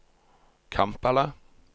Kampala